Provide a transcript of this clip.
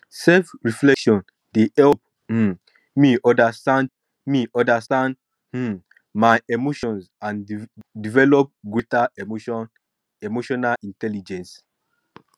selfreflection dey help um me understand me understand um my um emotions and develp greater emotional intelligence